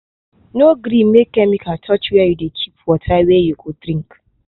no gree make chemical touch where you dey keep water wey you go drink.